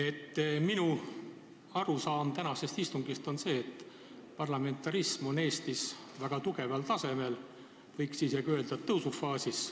Tänase istungi põhjal on mul tekkinud arusaam, et parlamentarism on Eestis väga kõrgel tasemel, võiks isegi öelda, et tõusufaasis.